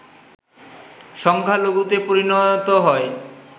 সংখ্যালঘুতে পরিণত হয়